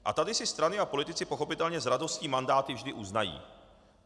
A tady si strany a politici pochopitelně s radostí mandáty vždy uznají.